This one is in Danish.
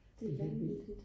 det er vanvittigt